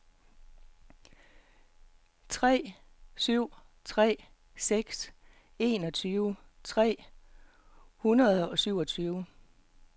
tre syv tre seks enogtyve tre hundrede og syvogtyve